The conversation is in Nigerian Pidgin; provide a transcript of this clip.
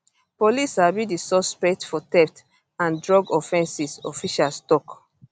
police sabi di suspect for theft and drug offences officials tok